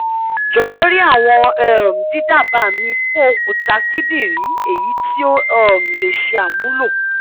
jọwọ ri awọn um didaba mi fun okuta kidinrin eyiti o um le ṣe amulo